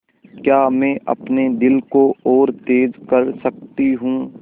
क्या मैं अपने दिल को और तेज़ कर सकती हूँ